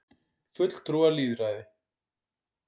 fulltrúalýðræði